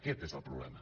aquest és el problema